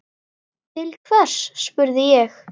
Til hvers, spurði ég.